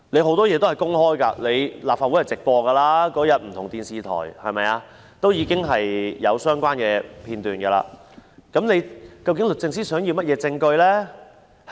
很多東西也是公開的，立法會會議是直播的，不同電視台也有當天的相關片段，究竟律政司想要甚麼證據呢？